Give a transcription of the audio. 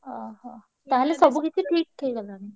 ଓହୋ! ତାହେଲେ ସବୁ କିଛି ଠିକ୍ ହେଇ ଗଲାଣି?